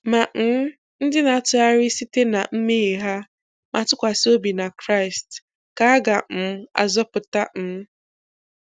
Ma um ndị n'atụgharị site na mmehie ha ma tụkwasị obi na Christ ka aga um azọpụta. um